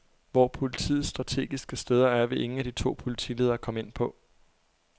Hvor politiets strategiske steder er, vil ingen af de to politiledere komme ind på.